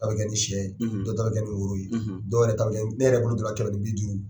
bɛ kɛ ni sɛ ye dɔw ta bɛ kɛ ni woro ye dɔw yɛrɛ ta bɛ kɛ ne yɛrɛ bolo kɛmɛ ni biduuru.